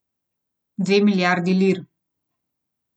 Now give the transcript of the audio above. Dve milijardi lir.